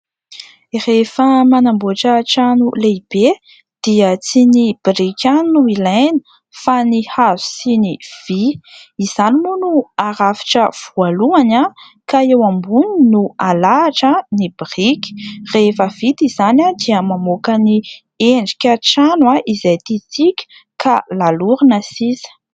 Rehefa manamboatra trano lehibe dia tsy ny biriky ihany no ilaina fa ny hazo sy ny vy. Izany moa no harafitra voalohany ka eo amboniny no alahatra ny biriky. Rehefa vita izany dia mamoaka ny endrika trano izay tiantsika ka lalorina sisa.